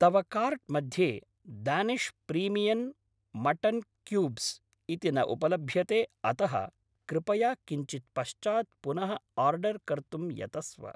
तव कार्ट् मध्ये Danish premium mutton cubes इति न उपलभ्यते अतः कृपया किञ्चिद् पश्चात् पुनः आर्डर् कर्तुं यतस्व।